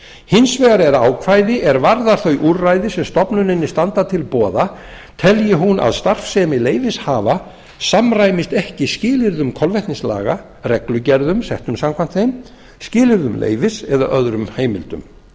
hins vegar er ákvæði er varðar þau úrræði sem stofnuninni standa til boða telji hún að starfsemi leyfishafa samræmist ekki skilyrðum kolvetnislaga reglugerðum settum samkvæmt þeim skilyrðum leyfis eða öðrum heimildum